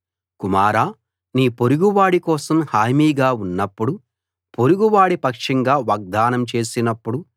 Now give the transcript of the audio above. కుమారా నీ పొరుగువాడి కోసం హామీగా ఉన్నప్పుడు పొరుగువాడి పక్షంగా వాగ్దానం చేసినప్పుడు